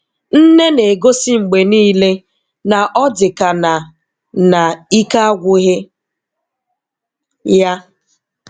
Nne na-egosi mgbe niile na ọ dịka na na ike agwụghị ya.